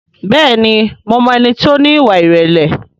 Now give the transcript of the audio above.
Bẹ́ẹ̀ni mo mọ ẹni tí ó ní ìwà ìrẹ̀lẹ̀